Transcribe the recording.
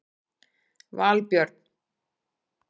Valbjörn